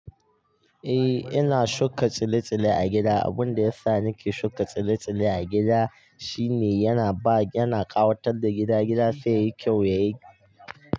Eh, ina shuka tsile-tsile a gida. Abin da yasa nake shuka tsile-tsile a gida shine yana ba, yana ƙawatar da gida, gida sai yayi kyau, yayi.